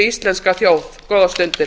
íslenska þjóð góðar stundir